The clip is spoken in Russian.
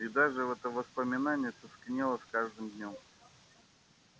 и даже в это воспоминание тускнело с каждым днём